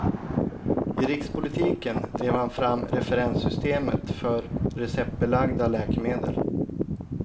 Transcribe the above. I rikspolitiken drev han fram referenssystemet för receptbelagda läkemedel.